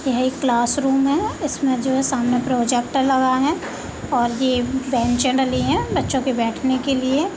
ये एक क्लासरूम है इसमें जो है सामने प्रोजेक्टर लगा है और ये बेंचे डली है बच्चो के बैठने के लिए।